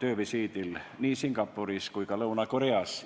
töövisiidil nii Singapuris kui ka Lõuna-Koreas.